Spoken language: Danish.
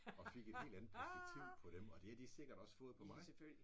Og fik et helt andet perspektiv på dem og det har de sikkert også fået på mig